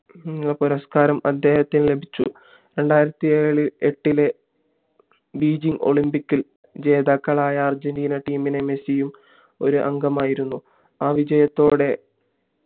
പുരസ്കാരം അദ്ദേഹത്തിന് ലഭിച്ചു രണ്ടായിരത്തി ഏട്ടിലെ ബീജിംഗ് ഒളിമ്പിക്സ്ഇൽ ജേതാക്കളായ അർജന്റീന team ഇൽ മെസ്സിയും ഒരു അംഗമായിരുന്നു ആ വിജയത്തോടെ